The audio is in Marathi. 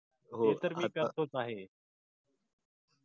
ते तर मी करतोच आहे.